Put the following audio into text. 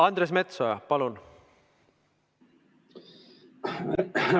Andres Metsoja, palun!